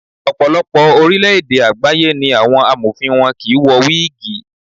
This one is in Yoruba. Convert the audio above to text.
Ọ̀pọ̀lọpọ̀ orílẹ̀ èdè àgbáyé ni àwọn Amọ̀fin wọn kì í wọ wígìì.